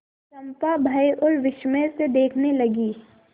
चंपा भय और विस्मय से देखने लगी